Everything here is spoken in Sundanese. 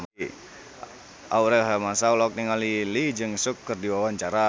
Aurel Hermansyah olohok ningali Lee Jeong Suk keur diwawancara